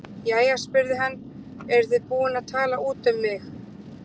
Jæja spurði hann, eruð þið búin að tala út um mig?